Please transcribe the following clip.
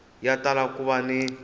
ya tala ku va ni